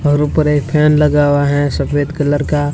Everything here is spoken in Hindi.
और ऊपर एक फैन लगा हुआ है सफेद कलर का--